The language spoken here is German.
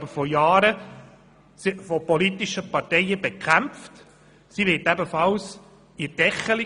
Diese KEV wird jedoch von gewissen politischen Parteien bekämpft und «gedeckelt».